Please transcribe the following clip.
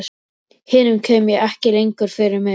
Hinum kem ég ekki lengur fyrir mig.